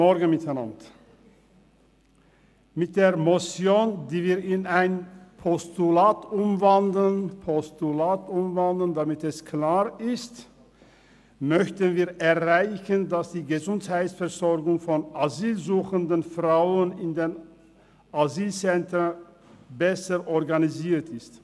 Mit der Motion, die wir in ein Postulat umwandeln, möchten wir erreichen, dass die Gesundheitsversorgung von asylsuchenden Frauen in den Asylzentren besser organisiert wird.